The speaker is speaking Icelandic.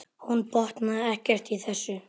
Hún botnaði ekkert í þessu.